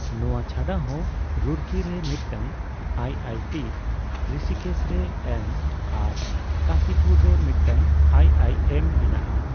ᱱᱚwᱟ ᱪᱷᱟᱰᱟᱦᱚᱸ, ᱨᱩᱨᱠᱤᱨᱮ ᱢᱤᱫᱴᱟᱝ ᱟᱭᱹᱟᱭᱹᱴᱤᱹ ᱨᱤᱥᱤᱠᱮᱥ ᱨᱮ ᱮᱭᱢᱚᱥ ᱟᱨ ᱠᱟᱹᱥᱤᱯᱩᱨ ᱨᱮ ᱢᱤᱫᱴᱟᱝ ᱟᱭᱹᱟᱭᱹᱮᱢᱹ ᱢᱮᱱᱟᱜᱼᱟ ᱾